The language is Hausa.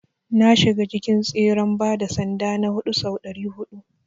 Na shiga cikin tseren gudun bada sanda na huɗu sau ɗari huɗu.